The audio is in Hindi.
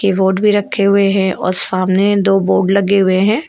अवार्ड भी रखे हुए हैं और सामने दो बोर्ड लगे हुए हैं।